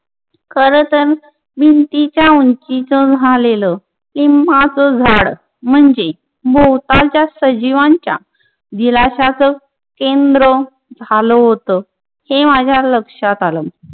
खरतर भिंतीच्या उंचीच झालेलं लिम्बाच झाड म्हंजे भोवतालच्या सजीवांच्या दिलाशाचा केंद्र झाल होत. हे माज्या लक्षात आल.